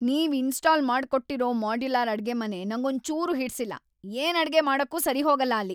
ನೀವ್ ಇನ್ಸ್ಟಾಲ್ ಮಾಡ್ಕೊಟ್ಟಿರೋ ಮಾಡ್ಯುಲರ್ ಅಡ್ಗೆಮನೆ ನಂಗೊಂಚೂರೂ ಹಿಡ್ಸಿಲ್ಲ, ಏನ್‌ ಅಡ್ಗೆ ಮಾಡಕ್ಕೂ ಸರಿಹೋಗಲ್ಲ ಅಲ್ಲಿ.